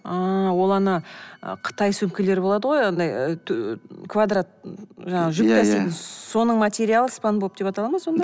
ааа ол ана қытай сөмкелері болады ғой андай квадрат жаңағы жүк таситын соның материалы спанбоп деп атала ма сонда